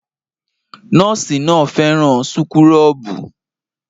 Nọ́ọ̀sì náà fẹ́ràn súkúrọ́bù